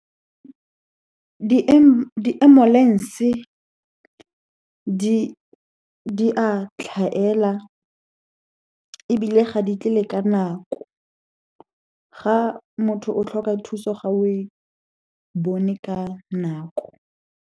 Di-ambulance-e di a tlhaela, ebile ga di tle le ka nako. Ga motho o tlhoka thuso, ga o e bone ka nako.